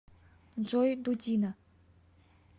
джой дудина